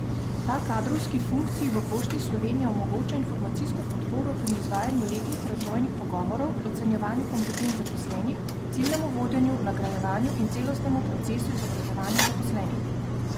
Ta kadrovski funkciji v Pošti Slovenije omogoča informacijsko podporo pri izvajanju letnih razvojnih pogovorov, ocenjevanju kompetenc zaposlenih, ciljnem vodenju, nagrajevanju in celostnem procesu izobraževanja zaposlenih.